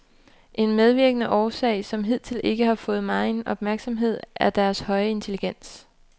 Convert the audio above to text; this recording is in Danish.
En medvirkende årsag, som hidtil ikke har fået megen opmærksomhed, er deres høje intelligens.